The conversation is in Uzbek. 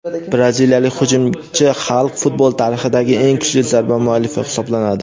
Braziliyalik hujumchi Xalk futbol tarixidagi eng kuchli zarba muallifi hisoblanadi.